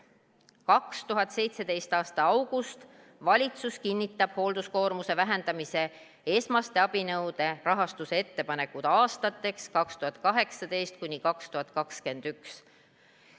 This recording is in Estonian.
2017. aasta august: valitsus kinnitab hoolduskoormuse vähendamise esmaste abinõude rahastuse ettepanekud aastateks 2018–2021.